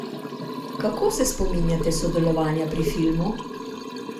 Kako se spominjate sodelovanja pri filmu?